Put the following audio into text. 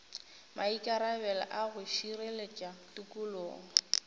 maikarabelo a go šireletša tikologo